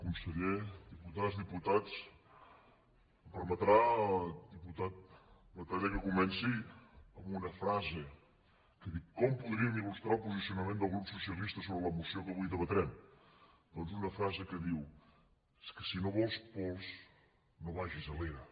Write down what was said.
conseller diputades diputats em permetrà diputat batalla que comenci amb una frase que diu com podríem il·lustrar el posicionament del grup socialista sobre la moció que avui debatrem doncs una frase que diu és que si no vols pols no vagis a l’era